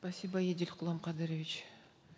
спасибо едиль құланқадырович